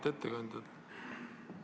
Auväärt ettekandja!